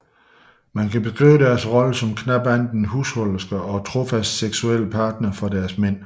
Man kan beskrive deres rolle som knap andet end husholdersker og trofaste seksuelle partnere for deres mænd